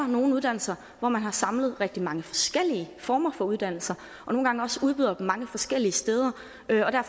nogle uddannelser hvor man har samlet rigtig mange forskellige former for uddannelser og nogle gange også udbyder dem mange forskellige steder